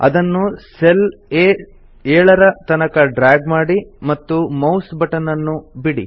ಅದನ್ನು ಸೆಲ್ ಆ7 ತನಕ ಡ್ರ್ಯಾಗ್ ಮಾಡಿ ಮತ್ತು ಮೌಸ್ ಬಟನ್ ಅನ್ನು ಬಿಡಿ